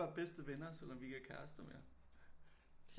Bedste venner selvom vi ikke er kærester mere